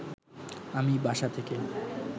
আমি বাসা থেকে